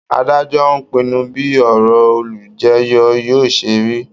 Adájọ́ á pinnu bí ọ̀rọ̀ olùjẹ́jọ́ yóò ṣe rí